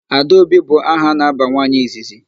Adaobi bụ aha a na-aba nwaanyị izizi.